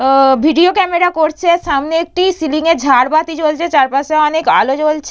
ও-ও video camera করছে। সামনে একটি সিলিংয়ে ঝাড়বাতি জ্বলছে। চারপাশে অনেক আলো জ্বলছে।